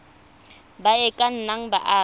ba e ka nnang baagi